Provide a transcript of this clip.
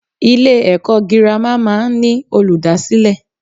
Ilè èkó girama máa n ní Olùdásílè